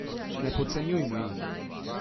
Ne podcenjujmo jih!